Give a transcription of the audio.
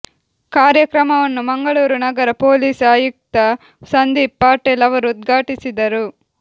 ಕಾರ್ಯಕ್ರಮವನ್ನು ಮಂಗಳೂರು ನಗರ ಪೊಲೀಸ್ ಆಯುಕ್ತ ಸಂದೀಪ್ ಪಾಟೀಲ್ ಅವರು ಉದ್ಘಾಟಿಸಿದರು